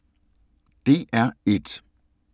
DR1